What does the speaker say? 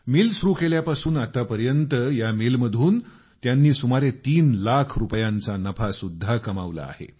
या एवढ्या गेल्या काही दिवसात या मिलमधून त्यांनी सुमारे तीन लाख रुपयांचा नफा सुद्धा कमावला आहे